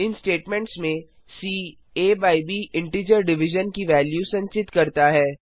इन statements में C A by B integer division की value संचित करता है